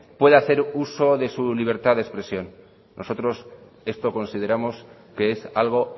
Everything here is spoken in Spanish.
pueda hacer uso de su libertad de expresión nosotros esto consideramos que es algo